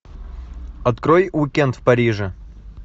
открой уикенд в париже